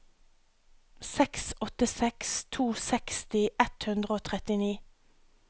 seks åtte seks to seksti ett hundre og trettini